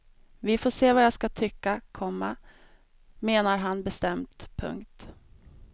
Vi får se vad jag ska tycka, komma menar han bestämt. punkt